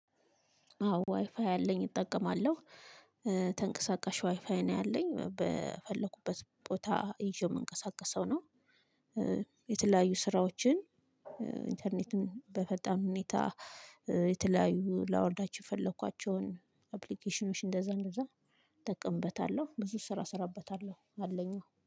አዎ ዋይፋይ አለኝ እጠቀማለሁ። ተንቀሳቀሽ ዋይፋይ ነው ያለኝ በፈለኩበት ቦታ ይዤው የምንቀሳቀሰው ነው። የተለያዩ ስራዎችን ኢንተርኔትን በፈጣን ሁኔታ የተለያዩ ላወርዳቸው የፈለኳቸውን አፕሊኬሽኖች እንደዛ እንደዛ እጠቀምበታለሁ። ብዙ ስራ እሰራበታለሁ አለኝ